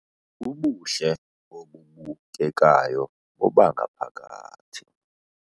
Ubuhle obubukekayo bobangaphakathi